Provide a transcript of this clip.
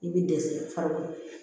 I bɛ dɛsɛ falen